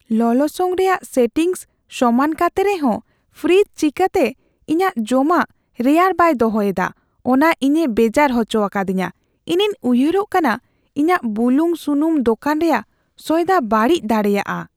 ᱞᱚᱞᱚᱥᱚᱝ ᱨᱮᱭᱟᱜ ᱥᱮᱴᱤᱝᱥ ᱥᱚᱢᱟᱱ ᱠᱟᱛᱮ ᱨᱮᱦᱚᱸ ᱯᱷᱨᱤᱡ ᱪᱤᱠᱟᱹᱛᱮ ᱤᱧᱟᱹᱜ ᱡᱚᱢᱟᱜ ᱨᱮᱭᱟᱲ ᱵᱟᱭ ᱫᱚᱦᱚᱭ ᱮᱫᱟ ᱚᱱᱟ ᱤᱧᱮ ᱵᱮᱡᱟᱨ ᱦᱚᱪᱚ ᱟᱠᱟᱫᱤᱧᱟᱹ ᱼᱤᱧᱤᱧ ᱩᱭᱦᱟᱹᱨᱚᱜ ᱠᱟᱱᱟ ᱤᱧᱟᱹᱜ ᱵᱩᱞᱩᱝᱼᱥᱩᱱᱩᱢ ᱫᱳᱠᱟᱱ ᱨᱮᱭᱟᱜ ᱥᱚᱭᱫᱟ ᱵᱟᱹᱲᱤᱡ ᱫᱟᱲᱮᱭᱟᱜᱼᱟ ᱾